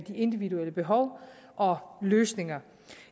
individuelle behov og løsninger